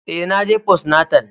Eh, na je postnatal.